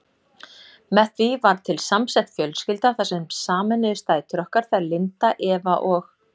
Með því varð til samsett fjölskylda þar sem sameinuðust dætur okkar, þær Linda, Eva og